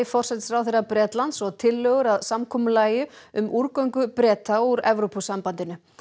forsætisráðherra Bretlands og tillögur að samkomulagi um Breta úr Evrópusambandinu